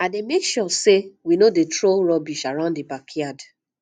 i dey make sure say we no dey throw rubbish around the backyard